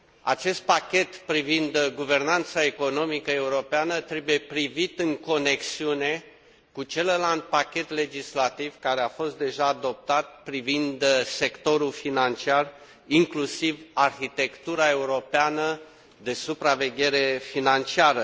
Acest pachet privind guvernanța economică europeană trebuie privit în conexiune cu celălalt pachet legislativ, care a fost deja adoptat, privind sectorul financiar, inclusiv arhitectura europeană de supraveghere financiară.